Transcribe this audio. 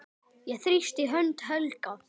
Ég þrýsti hönd Helga.